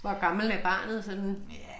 Hvor gammel er barnet sådan?